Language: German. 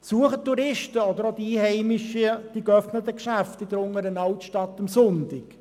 Besuchen Touristen oder Einheimische die geöffneten Geschäfte in der Unteren Altstadt am Sonntag?